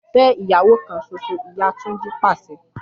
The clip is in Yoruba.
Fe iyawo kan soso! Iya Tunji pase